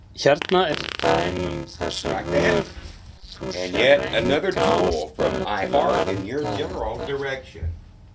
Hérna er dæmi um þessa vöru, þú sérð enga ástæðu til að vernda þetta?